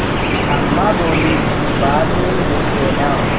अम्मा बोलीं बाद में देख लेना